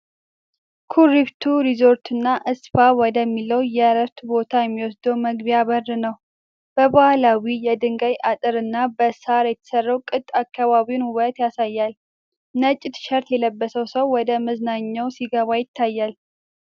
ኩሪፍቱ ሪዞርትና ስፓ ወደሚለው የእረፍት ቦታ የሚወስድ መግቢያ በር ነው። በባህላዊ የድንጋይ አጥርና በሳር የተሰራው ቅጥ የአካባቢውን ውበት ያሳያል። ነጭ ቲሸርት የለበሰው ሰው ወደ መዝናኛው ሲገባ ይታያል።